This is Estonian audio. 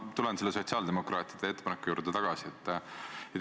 Ma tulen sotsiaaldemokraatide ettepaneku juurde tagasi.